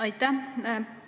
Aitäh!